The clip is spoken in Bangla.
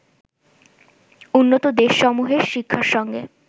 উন্নত দেশসমূহের শিক্ষার সঙ্গে